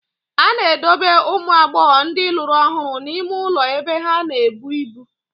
A na-edobe ụmụ agbọghọ ndị lụrụ ọhụrụ n'ime ụlọ ebe ha na-ebu ibu.